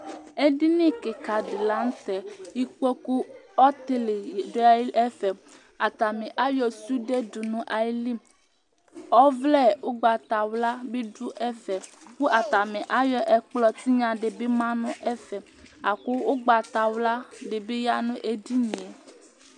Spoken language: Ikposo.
edini keka di lantɛ ikpoku ɔtili do ɛfɛ atani ayɔ sude do no ayili ɔvlɛ ugbata wla bi do ɛfɛ kò atani ayɔ ɛkplɔ tinya di bi ma no ɛfɛ la kò ugbata wla di bi ya no edini yɛ